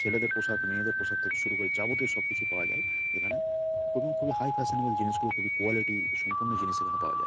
ছেলেদের পোশাক মেয়েদের পোশাক থেকে শুরু করে যাবতীয় সব কিছু পাওয়া যায় এখানে এবং খুবি হাই ফ্যাশন এর জিনিস গুলি খুবি কোয়ালিটি সম্পন্ন জিনিস এখানে পাওয়া যায়।